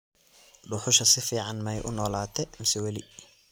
dhuxusha si fiican maay uu nolate mise weli